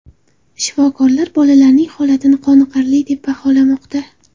Shifokorlar bolalarning holatini qoniqarli deb baholamoqda.